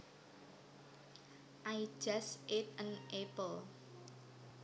I just ate an apple